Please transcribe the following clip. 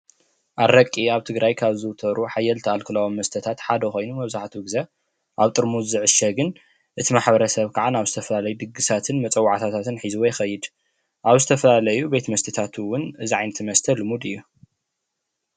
ኣረቂ ኣብ ትግራይ ካብ ዝዝውተሩ ሓየልቲ አልኮላዊ መስተታት ሓደ ኮይኑ መብዛሕትኡ ግዜ ኣብ ጥርሙዝ ዝዕሸግን እቲ መሕበረ ሰብ ከዓ ናብ ዝተፈላለዩ ድግሳትን ወፀዋዕታታትን ሒዝዎ ይኸይድ፡፡ ኣብ ዝተፈላለዩ መስተታት እውን እዚ ዓይነት መስተ ልሙድ እዩ፡፡